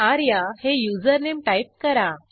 आर्या हे username type करा